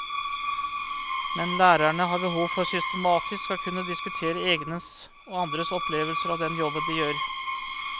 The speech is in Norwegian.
Men lærerne har behov for systematisk å kunne diskutere egnes og andres opplevelser av den jobben de gjør.